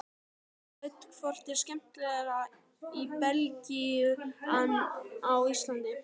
Hödd: Hvort er skemmtilegra í Belgíu en á Íslandi?